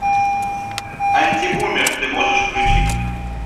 антибумер ты можешь включить